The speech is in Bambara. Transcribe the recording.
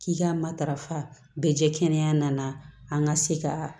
K'i ka matarafa bɛɛ jɛ kɛnɛya nana an ka se ka